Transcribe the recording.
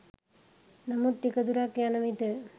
නමුත් ටික දුරක් යනවිට